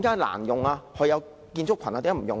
為何有建築群也不使用？